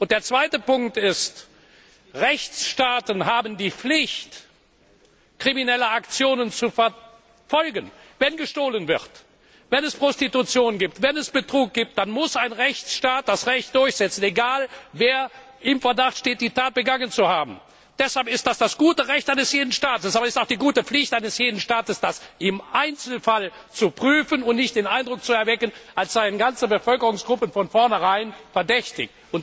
Der zweite Punkt ist, dass Rechtsstaaten die Pflicht haben, kriminelle Aktionen zu verfolgen. Wenn gestohlen wird, wenn es Prostitution gibt, wenn es Betrug gibt, dann muss ein Rechtsstaat das Recht durchsetzen, egal wer im Verdacht steht, die Tat begangen zu haben. Das ist das gute Recht eines jeden Staates! Aber es ist auch die gute Pflicht eines jeden Staates, jeden Einzelfall zu prüfen und nicht den Eindruck zu erwecken, als seien ganze Bevölkerungsgruppen von vornherein verdächtig.